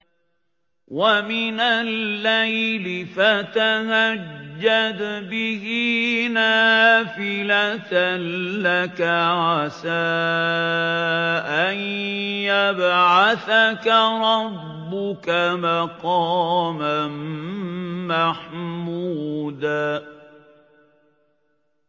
وَمِنَ اللَّيْلِ فَتَهَجَّدْ بِهِ نَافِلَةً لَّكَ عَسَىٰ أَن يَبْعَثَكَ رَبُّكَ مَقَامًا مَّحْمُودًا